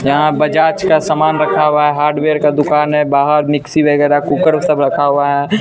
यहां बजाज का सामान रखा हुआ है हार्डवेयर का दुकान है बाहर मिक्सी वगैरह कुकर सब रखा हुआ है।